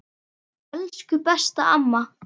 Elsku besta amma.